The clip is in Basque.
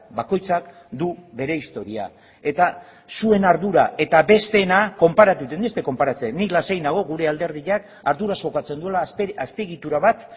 bakoitzak du bere historia eta zuen ardura eta besteena konparatzen nik ez dut konparatzen nik lasai nago gure alderdiak arduraz jokatzen duela azpiegitura bat